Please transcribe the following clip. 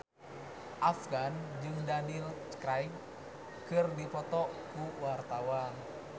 Afgan jeung Daniel Craig keur dipoto ku wartawan